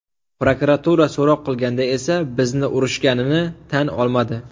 Prokuratura so‘roq qilganda esa bizni urishganini tan olmadi.